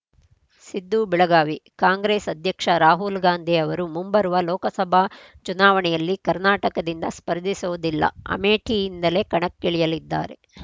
ಸಿದ್ದು ಬೆಳಗಾವಿ ಕಾಂಗ್ರೆಸ್‌ ಅಧ್ಯಕ್ಷ ರಾಹುಲ್‌ ಗಾಂಧಿ ಅವರು ಮುಂಬರುವ ಲೋಕಸಭಾ ಚುನಾವಣೆಯಲ್ಲಿ ಕರ್ನಾಟಕದಿಂದ ಸ್ಪರ್ಧಿಸೋದಿಲ್ಲ ಅಮೇಠಿಯಿಂದಲೇ ಕಣಕ್ಕಿಳಿಯಲಿದ್ದಾರೆ